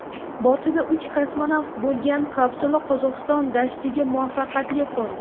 Bortida uch kosmonavt bo‘lgan kapsula Qozog‘iston dashtiga muvaffaqiyatli qo‘ndi.